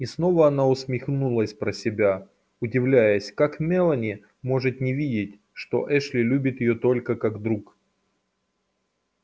и снова она усмехнулась про себя удивляясь как мелани может не видеть что эшли любит её только как друг